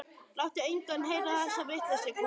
Láttu engan heyra þessa vitleysu, kona.